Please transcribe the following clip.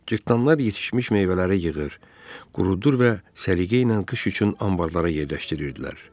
Cırtdanlar yetişmiş meyvələri yığır, qurudur və səliqə ilə qış üçün anbarlara yerləşdirirdilər.